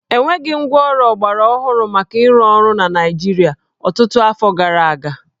E nweghị ngwaọrụ ọgbarọhụrụ maka ịrụ ọrụ na Naịjịrịa ọtụtụ afọ gara aga